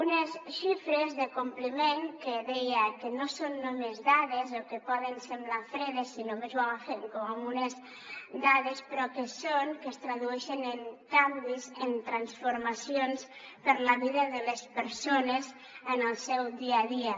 unes xifres de compliment que deia que no són només dades o que poden semblar fredes si només les agafem com unes dades però que es tradueixen en canvis en transformacions per a la vida de les persones en el seu dia a dia